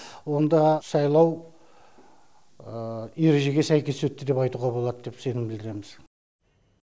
онда сайлау ережеге сәйкес өтті деп айтуға болады деп сенім білдіреміз